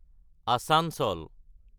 আচাঞ্চল